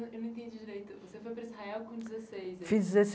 Eu eu não entendi direito, você foi para Israel com dezesseis? Fiz